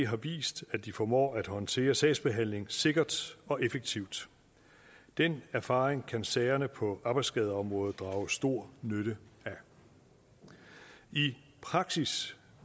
har vist at de formår at håndtere sagsbehandling sikkert og effektivt den erfaring kan sagerne på arbejdsskadeområdet drage stor nytte af i praksis